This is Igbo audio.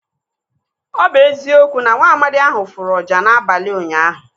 Ọ bụ eziokwu na nwaamadi ahụ fụrụ ọjà n'abalị ụnyaahụ.